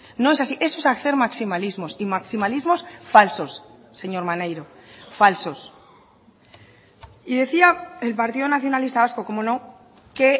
no es así eso es hacer maximalismos y maximalismos falsos señor maneiro falsos y decía el partido nacionalista vasco cómo no que